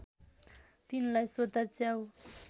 तिनलाई सोध्दा च्याउ